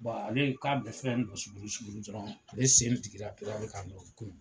ale k'a bɛ fɛn dɔrɔn ale sen jigira dɔrɔn ka mugu